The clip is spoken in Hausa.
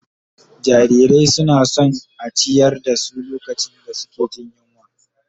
Jarirai suna son a ciyar da su lokacin da suke jin yunwa